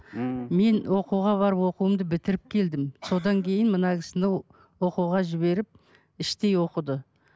ммм мен оқуға барып оқуымды бітіріп келдім содан кейін мына кісіні оқуға жіберіп іштей оқыды